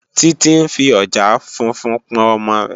Titi n fí òjàá fúnfún pòn òmò rè